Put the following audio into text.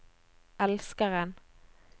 elskeren